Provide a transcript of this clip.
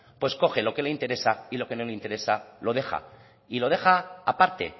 pues coge lo que le interesa y lo que no le interesa lo deja y lo deja aparte